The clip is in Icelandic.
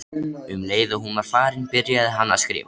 Um leið og hún var farin byrjaði hann að skrifa.